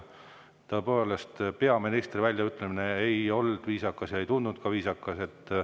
Tõepoolest, peaministri väljaütlemine ei olnud viisakas ega tundunud viisakas.